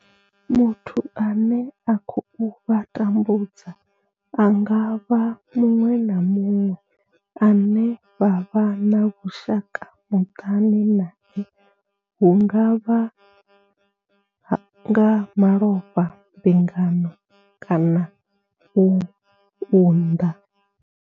Muthu ane a khou vha tambudza a nga vha muṅwe na muṅwe ane vha vha na vhushaka muṱani nae hu nga vha nga malofha, mbingano kana u unḓa.